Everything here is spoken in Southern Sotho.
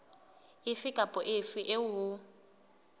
efe kapa efe eo ho